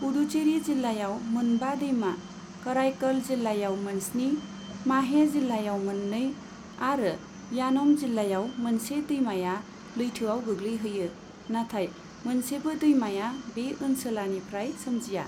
पुडुचेरी जिल्लायाव मोनबा दैमा, कराईकल जिल्लायाव मोन स्नि, माहे जिल्लायाव मोननै आरो यानम जिल्लायाव मोनसे दैमाया लैथोयाव गैग्लैहैयो, नाथाय मोनसेबो दैमाया बे ओनसोलानिफ्राय सोमजिया।